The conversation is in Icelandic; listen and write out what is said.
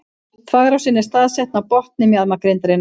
Þvagrásin er staðsett á botni mjaðmagrindarinnar.